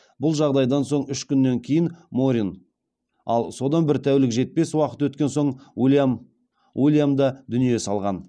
бұл жағдайдан соң үш күннен кейін морин ал содан бір тәулікке жетпес уақыт өткен соң уильям да дүние салған